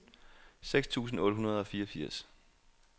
seks tusind otte hundrede og fireogfirs